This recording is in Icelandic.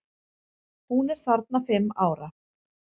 Hún er þarna fimm ára.